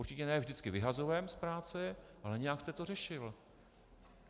Určitě ne vždycky vyhazovem z práce, ale nějak jste to řešil.